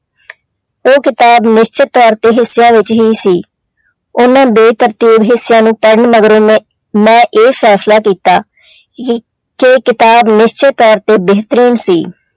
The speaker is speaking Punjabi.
ਉਹ ਕਿਤਾਬ ਨਿਸ਼ਚਿਤ ਤੌਰ ਤੇ ਹਿੱਸਿਆਂ ਵਿੱਚ ਹੀ ਸੀ, ਉਹਨਾਂ ਬੇਤਰਤੀਬ ਹਿੱਸਿਆਂ ਨੂੰ ਪੜ੍ਹਨ ਮਗਰੋਂ ਮੈਂ ਮੈਂ ਇਹ ਫੈਸਲਾ ਕੀਤਾ ਕਿ ਕਿਤਾਬ ਨਿਸ਼ਚਿਤ ਤੌਰ ਤੇ ਬੇਹਤਰੀਨ ਸੀ।